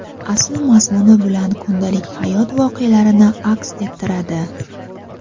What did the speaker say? asl mazmuni bilan kundalik hayot voqealarini aks ettiradi.